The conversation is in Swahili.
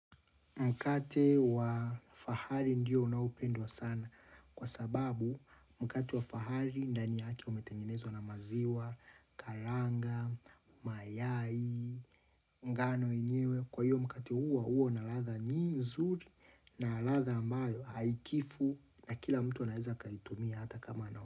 Mkate wa fahari ndiyo unaopendwa sana kwa sababu mkate wa fahari ndani yake umetengenezwa na maziwa, karanga, mayai, ngano yenyewe. Kwa hiyo mkate huo huwa na ladha nyi nzuri na ladha ambayo haikifu na kila mtu anaeza akaitumia hata kama na.